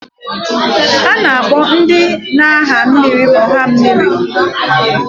A na-akpọ ndị na-aha mmịrị ọha mmịrị.